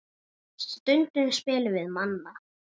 Stundum spilum við Manna.